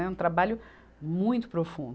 É um trabalho muito profundo.